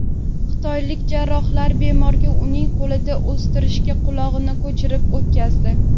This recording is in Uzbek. Xitoylik jarrohlar bemorga uning qo‘lida o‘stirilgan quloqni ko‘chirib o‘tqazdi.